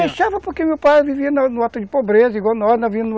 Deixava, porque meu pai vivia no no ato de pobreza